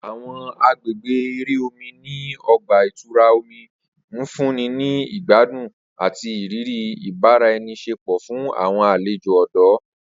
Awọn agbegbe ere omi ni ọgba-itura omi nfunni ni igbadun ati iriri ibaraenisepo fun awọn alejo ọdọ.